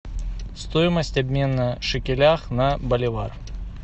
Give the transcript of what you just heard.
стоимость обмена шекелях на боливар